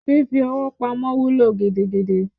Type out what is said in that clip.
Fífi owó pamọ́ wúlò gidigidi